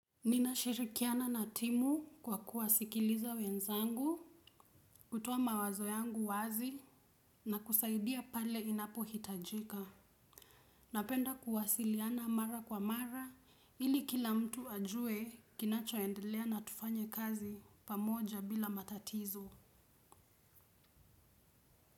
Ninashirikiana na timu kwa kuwasikiliza wenzangu, kutoa mawazo yangu wazi na kusaidia pale inapohitajika. Napenda kuwasiliana mara kwa mara ili kila mtu ajue kinachoendelea na tufanye kazi pamoja bila matatizo.